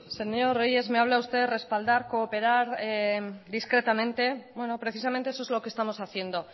señor reyes me habla usted respaldar cooperar discretamente bueno precisamente eso es lo que estamos haciendo